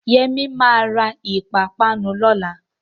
Yẹmí ma ra ìpápánu lọ́la